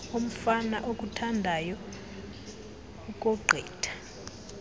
umfana okuthandayo ukogqitha